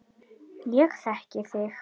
Ég þekki þig